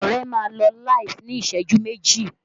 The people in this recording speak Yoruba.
Ọrẹ máa lọ LIVE ní ìṣẹ́jú méjì